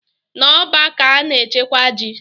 Na ọ́bà ka ana-echekwa ji.